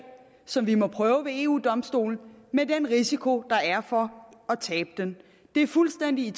som vi må have prøvet ved eu domstolen med den risiko der er for at tabe den det er fuldstændig i